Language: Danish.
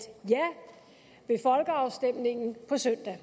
ja ved folkeafstemningen på søndag